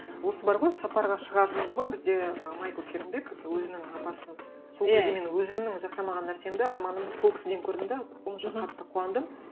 осы бар ғой сапарға шығар дейді ғой бізде ы майкл фейрнбек өзінің апасын сол кезде мен өзімнің жасамаған нәрсемді арманымды сол кісіден көрдім де сонша қатты қуандым